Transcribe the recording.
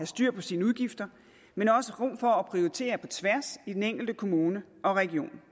styr på sine udgifter men også rum for at prioritere på tværs i den enkelte kommune og region